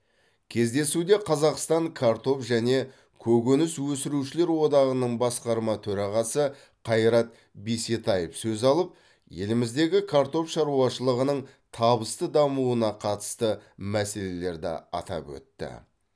кездесуде қазақстан картоп және көкөніс өсірушілер одағының басқарма төрағасы қайрат бисетаев сөз алып еліміздегі картоп шаруашылығының табысты дамуына қатысты мәселелерді атап өтті